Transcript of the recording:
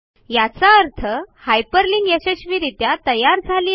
याचा अर्थ हायपरलिंक यशस्वीरित्या तयार झाली आहे